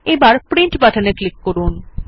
এবার প্রিন্ট বাটনে ক্লিক করুন